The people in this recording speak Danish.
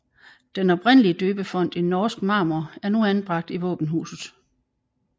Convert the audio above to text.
Den oprindelige døbefont i norsk marmor er nu anbragt i våbenhuset